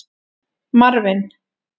Marvin